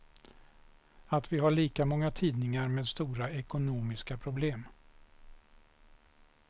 Att vi har lika många tidningar med stora ekonomiska problem.